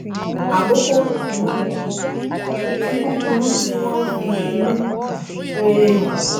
àkókò kúkúrú tí kúkúrú tí wón fi inú um rere hàn